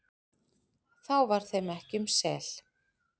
þá var þeim ekki um sel,